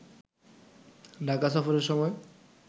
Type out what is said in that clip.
ঢাকা সফরের সময়